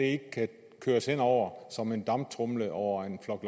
ikke kan køres hen over som en damptromle over en flok